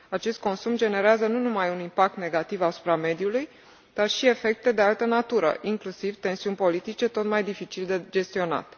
Acest consum generează nu numai un impact negativ asupra mediului, ci și efecte de altă natură, inclusiv tensiuni politice tot mai dificil de gestionat.